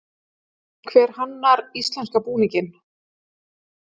Hver hannar íslenska búninginn?